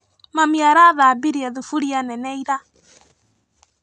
Mami arathambirie thuburia nene ira.